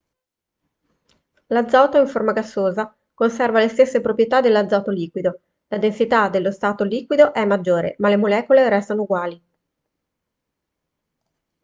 l'azoto in forma gassosa conserva le stesse proprietà dell'azoto liquido la densità dello stato liquido è maggiore ma le molecole restano uguali